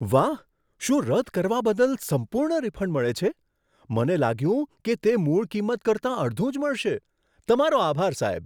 વાહ! શું રદ કરવા બદલ સંપૂર્ણ રિફંડ મળે છે? મને લાગ્યું કે તે મૂળ કિંમત કરતાં અડધું જ મળશે. તમારો આભાર સાહેબ.